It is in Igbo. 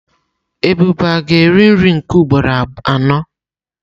Ebube ga-eri nri nke ugboro anọ?